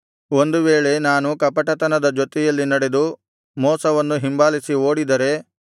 ಒಂದು ವೇಳೆ ನಾನು ಕಪಟತನದ ಜೊತೆಯಲ್ಲಿ ನಡೆದು ಮೋಸವನ್ನು ಹಿಂಬಾಲಿಸಿ ಓಡಿದರೆ